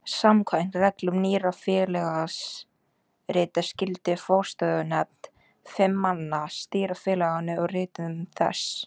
Samkvæmt reglum Nýrra félagsrita skyldi forstöðunefnd fimm manna stýra félaginu og ritum þess.